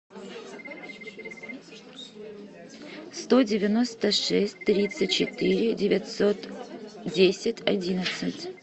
сто девяносто шесть тридцать четыре девятьсот десять одиннадцать